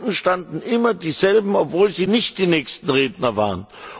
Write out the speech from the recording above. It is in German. Unten standen immer dieselben, obwohl sie nicht die nächsten Redner waren.